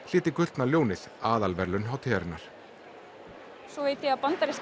hlyti gullna ljónið aðalverðlaun hátíðarinnar svo veit ég að bandaríska